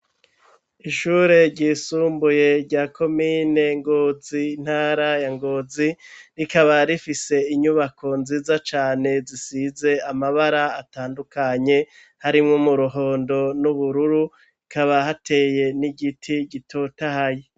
Ishuri ryisumbuye rya komine Ngozi intara ya Ngozi rikaba rifise inyubako nziza cane zisize amabara atandukanye .Harimo mu ruhondo n'ubururu ikaba hateye n'igiti gitotahaye.